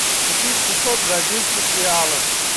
купить шестьсот бразильских реалов